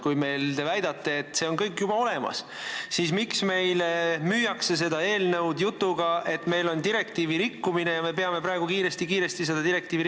Kui te väidate, et see kõik on meil juba olemas, siis miks meile müüakse seda eelnõu jutuga, et meil on direktiivi rikkumine, mida me peame praegu kiiresti-kiiresti lahendama.